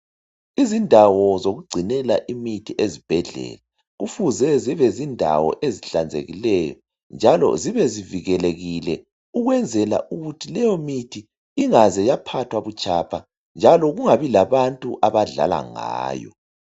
Izindawo zokugcinela imithi ezibhedlela kufuze zibe yindawo ezihlanzekileyo njalo zibe zivikelekile ukwenzela ukuthi leyo mithi ingaze yaphathwa butshapha njalo kungabi labantu abadlala ngayo